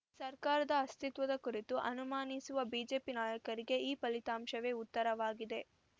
ಸರ್ಕಾರದ ಅಸ್ತಿತ್ವದ ಕುರಿತು ಅನುಮಾನಿಸುವ ಬಿಜೆಪಿ ನಾಯಕರಿಗೆ ಈ ಫಲಿತಾಂಶವೇ ಉತ್ತರವಾಗಿದೆ